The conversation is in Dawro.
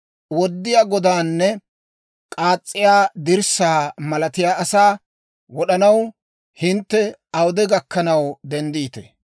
Woddiyaa godaanne k'aas's'iyaa dirssaa malatiyaa asaa wod'anaw, hintte awude gakkanaw denddiitee?